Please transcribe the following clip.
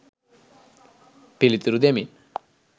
පිළිතුරු දෙමින්